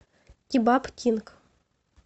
кебаб кинг